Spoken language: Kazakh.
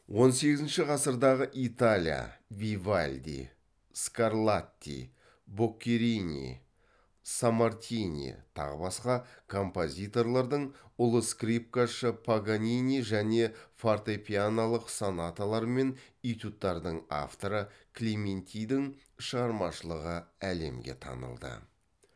он сегізінші ғасырдағы италия вивальди скарлатти боккерини саммартини тағы басқа композиторлардың ұлы скрипкашы паганини және фортепианолық сонаталар мен этюдтардың авторы клементидің шығармашылығы әлемге танылды